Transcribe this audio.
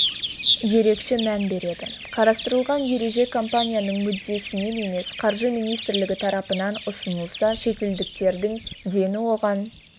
ерекше мән береді қарастырылған ереже компанияның мүддесінен емес қаржы министрлігі тарапынан ұсынылса шетелдіктердің дені оған